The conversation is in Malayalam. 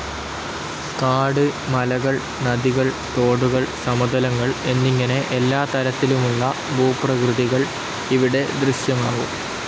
കാട്, മലകൾ, നദികൾ, തോടുകൾ, സമതലങ്ങൾ എന്നിങ്ങനെ എല്ലാ തരത്തിലുമുള്ള ഭൂപ്രകൃതികൾ ഇവിടെ ദൃശ്യമാകും.